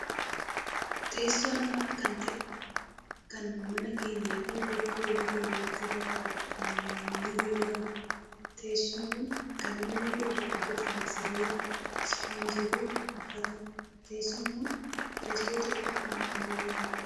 Teessoo nama kan ta'e kan mana keenyaafi bakka hojii keenyaatti irra taa'uuf ni gargaarudha. Teessoon kun kan inni irraa hojjatame sibiila, ispoonjii, fi uffatadha. Teessoon kun teessoo xiqqoo kan ammayyaa'edha.